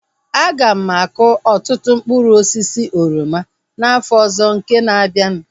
Aga m akọ ọtụtụ mkpụrụ osisi oroma n'afọ ọzọ nke na-abianu